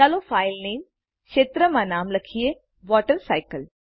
ચાલો ફાઇલ નામે ક્ષેત્રમાં નામ લખીએ વોટરસાયકલ